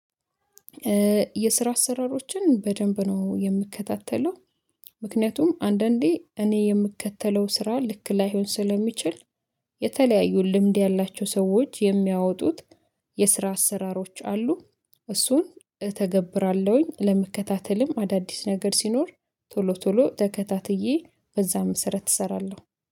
የስራ አሰራሮችን በደንብ ነው የምከታተለው። ምክንያቱም አንዳንዴ እኔ የምከተለው ስራ ልክ ላይሆን ስለሚችል። የተለያዩ ልምድ ያላቸው ሰዎች የሚያወጡት። የስራ አሰራሮች አሉ። እሱን እተገብራለሁኝ ለመከታተልም አዳዲስ ነገር ሲኖር ቶሎ ቶሎ ተከታትዬ በዛም መሰረተ እሰራለሁ።